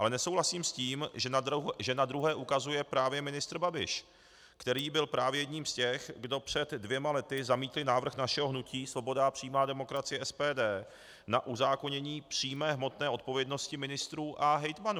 Ale nesouhlasím s tím, že na druhé ukazuje právě ministr Babiš, který byl právě jedním z těch, kdo před dvěma lety zamítli návrh našeho hnutí Svoboda a přímá demokracie, SPD, na uzákonění přímé hmotné odpovědnosti ministrů a hejtmanů.